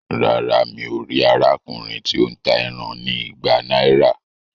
Rárá, mí o ríi arákùnrin ti o n tá ẹran ní ìgbà náírà